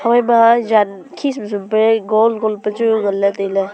phaima jan khi sum sum pe gol gol pe chu ngan le taile.